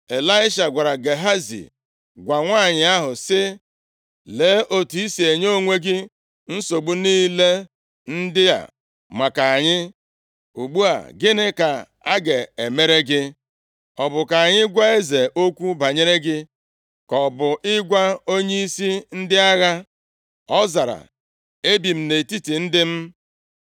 Ịlaisha gwara Gehazi, “Gwa nwanyị ahụ, sị, ‘Lee, otu i si enye onwe gị nsogbu niile ndị a maka anyị. Ugbu a, gịnị ka a ga-emere gị? Ọ bụ ka anyị gwa eze okwu banyere gị, ka ọ bụ ịgwa onyeisi ndị agha?’ ” Ọ zara, “Ebi m nʼetiti ndị m.”